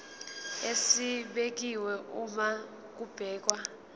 esibekiwe uma kubhekwa